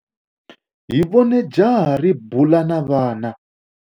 Hi vone jaha ri bula na vana.